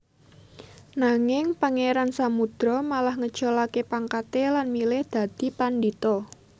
Nanging Pangeran Samudro malah ngeculake pangkate lan milih dadi pandhita